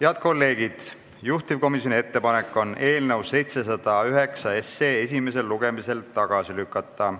Head kolleegid, juhtivkomisjoni ettepanek on eelnõu 709 esimesel lugemisel tagasi lükata.